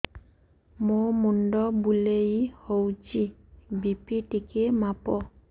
ମୋ ମୁଣ୍ଡ ବୁଲେଇ ହଉଚି ବି.ପି ଟିକେ ମାପ